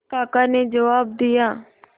काका ने जवाब दिया